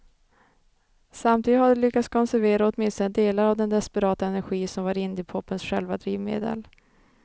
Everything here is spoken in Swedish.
Samtidigt har de lyckats konservera åtminstone delar av den desperata energi som var indiepopens själva drivmedel.